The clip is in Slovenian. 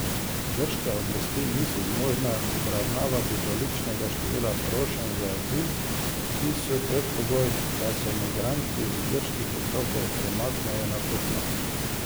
Grške oblasti niso zmožne obravnavati tolikšnega števila prošenj za azil, ki so predpogoj, da se migranti z grških otokov premaknejo na kopno.